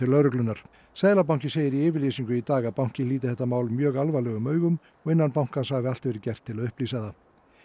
lögreglunnar seðlabankinn segir í yfirlýsingu í dag að bankinn líti þetta mál mjög alvarlegum augum og innan bankans hafi allt verið gert til að upplýsa það